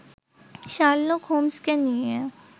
Sherlock হোমসকে নিয়ে